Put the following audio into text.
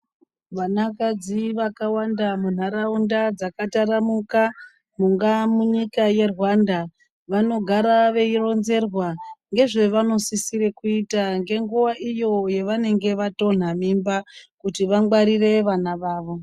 Vanakadzi vakawanda munharaunda dzakataramuka kungaa munyika yeRwanda vanogara veironzerwa ngezvavanosisira kuita ngenguwa iyo yavanenge vatonha mimba kuti vangwarire vana vavo.